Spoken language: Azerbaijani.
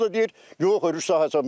O da deyir yox örüş sahəsi.